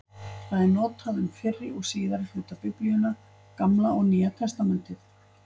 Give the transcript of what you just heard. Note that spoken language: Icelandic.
Það er notað um fyrri og síðari hluta Biblíunnar, Gamla og Nýja testamentið.